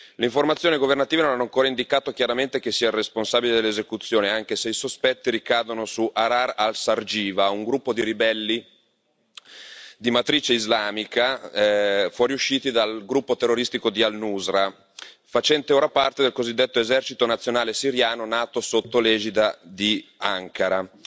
Le informazioni governative non hanno ancora indicato chiaramente chi sia il responsabile dell'esecuzione, anche se i sospetti ricadono su Ahrar al Sharqiya, un gruppo di ribelli di matrice islamica, fuoriusciti dal gruppo terroristico di al Nuṣra, facente ora parte del cosiddetto esercito nazionale siriano, nato sotto l'egida di Ankara.